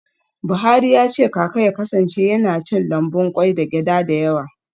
Buhari ya ce kaka ya kasance yana cin lambun kwai da gyada da yawa.